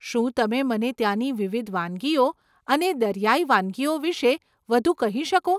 શું તમે મને ત્યાની વિવિધ વાનગીઓ અને દરિયાઈ વાનગીઓ વિશે વધુ કહી શકો?